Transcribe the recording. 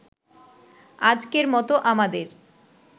আজকের মতো আমাদের